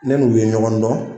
Ne n'u ye ɲɔgɔn dɔn.